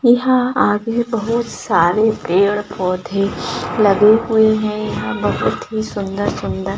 यहाँ आगे बहुत सारे पेड़ पौधे लगे हुए हैं यहाँ बहुत ही सुंदर-सुंदर--